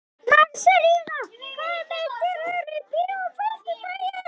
Marselína, hvaða myndir eru í bíó á föstudaginn?